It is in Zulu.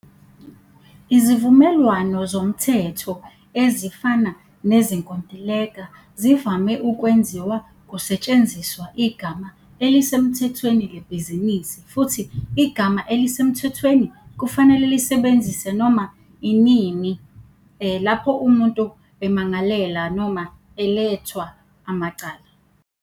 Izivumelwano zomthetho ezifana nezinkontileka zivame ukwenziwa kusetshenziswa igama elisemthethweni lebhizinisi, futhi igama elisemthethweni kufanele lisebenzise noma nini lapho umuntu emangalela noma elethwa amacala.